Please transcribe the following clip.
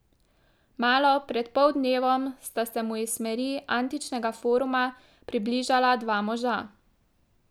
Malo pred poldnevom sta se mu iz smeri antičnega foruma približala dva moža.